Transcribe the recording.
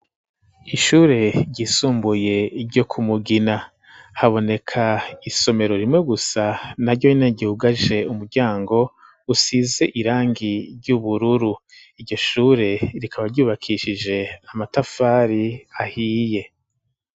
Ishure ryisumbuye ryo ku Mugina. Haboneka isomero rimwe gusa, naryo nyene ryugaje umuryango usize irangi ry'ubururu. Iryo shure rikaba ryubakishije amatafari ahiye.